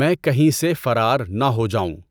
میں کہیں سے فرار نہ ہو جاؤں